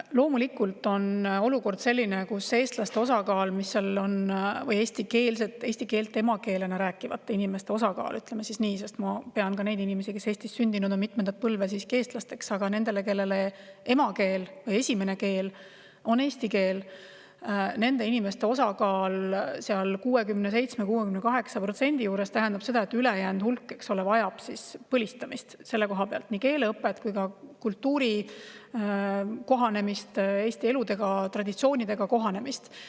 Loomulikult on olukord selline, kus eestlaste või eesti keelt emakeelena rääkivate inimeste – ütleme siis nii, sest ma pean ka neid inimesi, kes on Eestis sündinud, mitmendat põlve, siiski eestlasteks – ehk nende inimeste, kelle esimene keel on eesti keel, osakaal 67–68% juures tähendab seda, et ülejäänud vajavad põlistamist: nii keeleõpet kui ka kultuuriga kohanemist, Eesti elu ja traditsioonidega kohanemist.